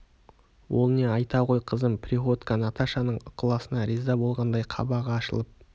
ол не айта ғой қызым приходько наташаның ықыласына риза болғандай қабағы ашылып